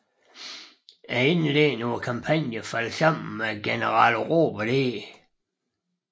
Indledningen på kampagnen faldt sammen med general Robert E